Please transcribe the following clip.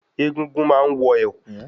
Egúngún má ń wọ̀ ẹ̀kú